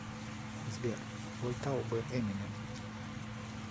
сбер ютуб эминем